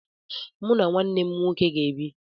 Mụ na nwanne m nwoke ga-ebi.